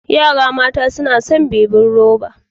Yara mata suna son bebin ruba.